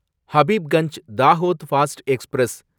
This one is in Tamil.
Habibganj Dahod fast express